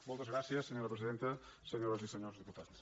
moltes gràcies senyora presidenta senyores i senyors diputats